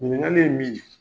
Ɲinikali ye min ye